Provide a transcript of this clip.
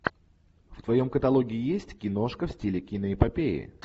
в твоем каталоге есть киношка в стиле киноэпопеи